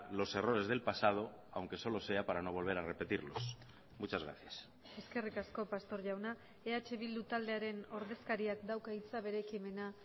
los errores del pasado aunque solo sea para no volver a repetirlos muchas gracias eskerrik asko pastor jauna eh bildu taldearen ordezkariak dauka hitza bere ekimena